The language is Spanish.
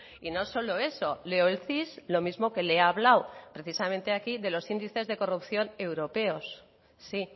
y no solo eso leo el cis lo mismo que le he hablado precisamente aquí de los índices de corrupción europeos sí